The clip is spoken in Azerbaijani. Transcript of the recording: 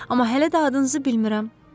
Amma hələ də adınızı bilmirəm.